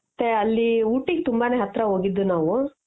ಅತ್ತೆ ಅಲ್ಲಿ ooty ಗೆ ತುಂಬಾ ನೇ ಹತ್ರ ಹೋಗಿದ್ದು ನಾವು